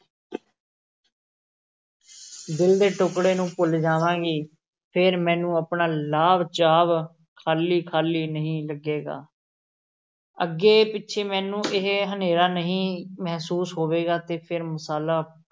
ਦਿਲ ਦੇ ਟੁਕੜੇ ਨੂੰ ਭੁੱਲ ਜਾਵਾਂਗੀ, ਫੇਰ ਮੈਨੂੰ ਆਪਣਾ ਲਾਂਭ-ਚਾਂਭ ਖ਼ਾਲੀ-ਖ਼ਾਲੀ ਨਹੀਂ ਲੱਗੇਗਾ ਅੱਗੇ-ਪਿੱਛੇ ਮੈਨੂੰ ਇਹ ਹਨੇਰਾ ਨਹੀਂ ਮਹਿਸੂਸ ਹੋਵੇਗਾ ਤੇ ਫੇਰ ਮਸਾਲਾ